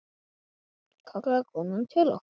kallaði konan til okkar.